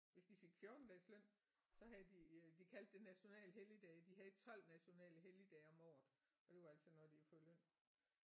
Hvis de fik 14 dages løn så havde de øh de kaldte det national helligdage de havde 12 nationale helligdage om året og det var altså når de havde fået løn